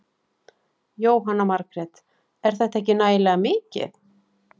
Jóhanna Margrét: Er þetta ekki nægilega mikið?